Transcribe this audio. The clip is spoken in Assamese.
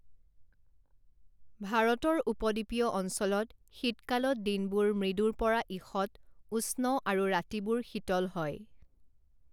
ভাৰতৰ উপদ্বীপীয় অঞ্চলত শীতকালত দিনবোৰ মৃদুৰ পৰা ঈষৎ উষ্ণ আৰু ৰাতিবোৰ শীতল হয়।